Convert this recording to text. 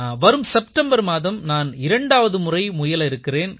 வரும் செப்டெம்பர் மாதம் நான் இரண்டாவது முறை முயல இருக்கிறேன்